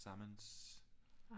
Tillsammans